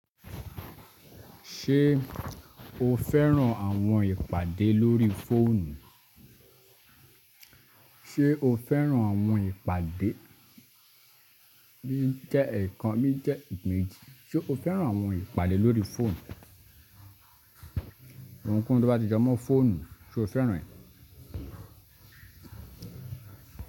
Ṣé o fẹ́ràn àwọn ìpàdé lórí fóònù? Ṣé o fẹ́ràn àwọn ìpàdé? Bí i jẹ́ ẹ̀ẹ̀kan, bí i jẹ́ imẹji. Ṣé o fẹ́ràn àwọn ìpàdé lórí fóònù? Ohunkóhun tó bá ti jẹ́ mọ́ fóònù, ṣe o fẹ́ràn rẹ̀?